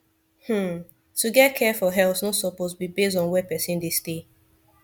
hmm to get care for health no suppose be base on where person dey stay